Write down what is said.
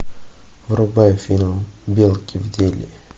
врубай фильм белки в деле